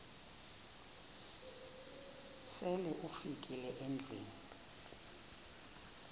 sele ufikile endlwini